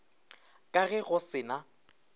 ka ge go se na